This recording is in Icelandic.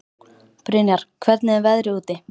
Brynjar, hvernig er veðrið úti?